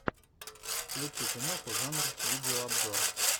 включи киноху жанр видеообзор